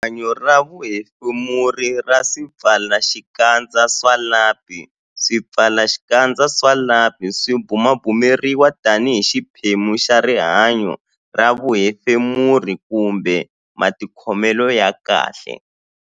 Rihanyo ra vuhefemuri ra swipfalaxikandza swa lapi Swipfalaxikandza swa lapi swi bumabumeriwa tanihi xiphemu xa rihanyo ra vuhefemuri kumbe matikhomelo ya kahle.